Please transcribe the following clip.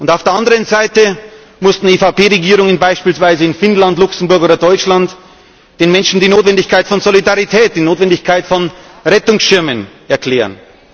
Auf der anderen Seite mussten EVP Regierungen beispielsweise in Finnland, Luxemburg oder Deutschland den Menschen die Notwendigkeit von Solidarität, die Notwendigkeit von Rettungsschirmen erklären.